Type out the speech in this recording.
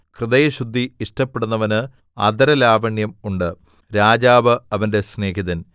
ഹൃദയശുദ്ധി ഇഷ്ടപ്പെടുന്നവന് അധരലാവണ്യം ഉണ്ട് രാജാവ് അവന്റെ സ്നേഹിതൻ